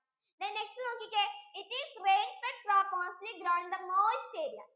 then next നോക്കിക്കേ it is rainfed crops mostly grow in the moist area